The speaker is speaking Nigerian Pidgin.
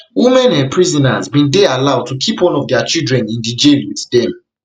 women um prisoners bin dey allowed to keep one of dia children in di jail wit dem